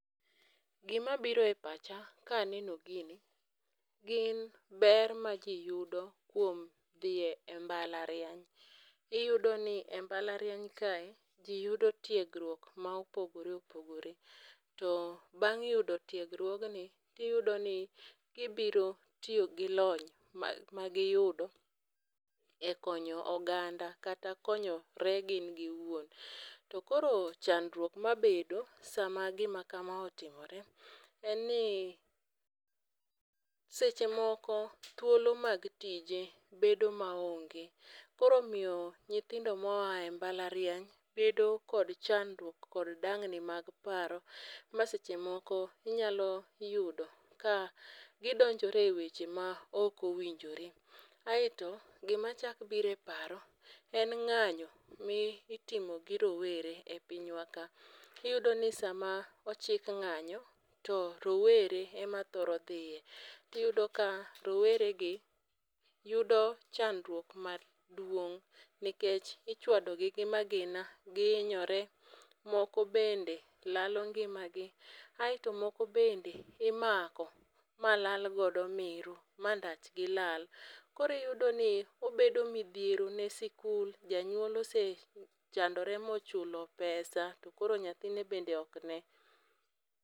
Gima biro e pacha kaneno gini gin ber majiyudo kuom dhiye mbalariany. Iyudo ni e mbalariany kae ji yudo tiegruok ma opogore opogore. To bang' yudo tiegruog ni tiyudo ni gibiro tiyo gi lony magiyudo e konyo oganda kata konyore gin giwuon. Tokoro chandruok mabedo sama gima kama otimore en ni seche moko thuolo mag tije bedo ma onge. Koro miyo nyithindo mo ae mbalariany bedo kod chandruok kod dangni mag paro ma seche moko inyalo yudo ka gidonjore e weche ma ok owinjore. Aeto gima chak biro e paro e ng'anyo mi itimo gi rowere e piny wa ka. Iyudo ni sama ochik ng'anyo to rowere e ma thoro dhiye. Tiyudo ka rowere gi yudo chandruok maduong' nikech ichwado gi gi magina, gihinyoore, moko bende lalo ngima gi. Aeto moko bende imako ma lal godo meru ma ndach gi lal. Koro iyudo ni obedo midhiero ne sikul. Janyuol osechandore mochulo pesa to koro nyathine bende ok ne.